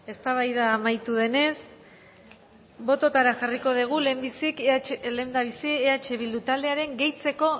eztabaida amaitu denez bototara jarriko dugu lehendabizi eh bildu taldearen gehitzeko